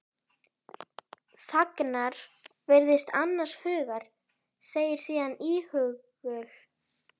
Þagnar, virðist annars hugar, segir síðan íhugul